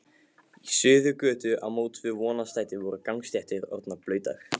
Í Suðurgötu á móts við Vonarstræti voru gangstéttir orðnar blautar.